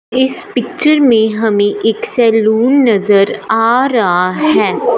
इस पिक्चर में हमें एक सैलून नजर आ रा है।